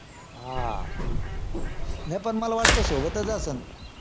हां नाय पण मला वाटतं सोबतच असंन